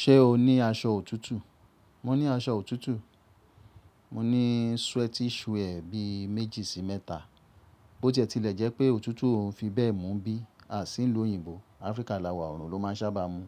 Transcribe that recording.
Ṣé o ní aṣọ òtútù? Mo ní aṣọ òtútù. Mo ní sweatishwe bí méjì sí mẹ́ta. Bóó tie ti lẹ jẹ́ pé òtútù òn fi bẹ́ẹ̀ mú bí a sì ń lò òyìnbó, Áfríkà lawà òrò ló máa ń sábà mú.